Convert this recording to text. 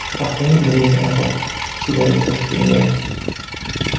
Paxtaning o‘rniga – aroq, sigaret kirib kelgan.